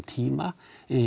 tíma